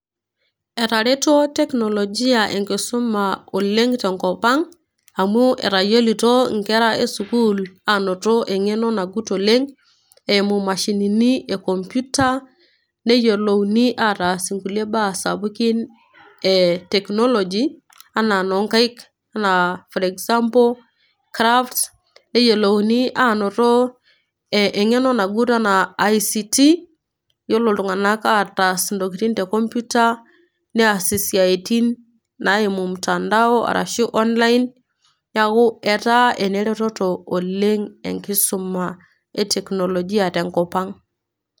Etareto cs teknologia cs enkisuma oleng tenkopang amu etayioloto nkera esukul anoto engeno nagut oleng eimu mashinini ekompyuta neyiolouni ataas nkulie baa sapukin eteknoloji anaa enonkaik anaa crafts neyiolouni anoto engeno nagut anaa ict ltunganak ataas ntokitin te komputa neas siatin naimu online neaku eta eneretoto oleng enkisuma e teknologia tenkop aang.